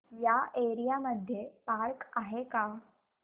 या एरिया मध्ये पार्क आहे का